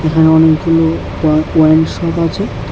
এখানে অনেকগুলো ওয়া ওয়াইন শপ আছে।